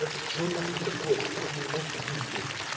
это что нахуй такое такого не может быть блять